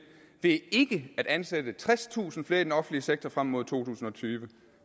ved ikke at ansætte tredstusind flere i den offentlige sektor frem mod to tusind og tyve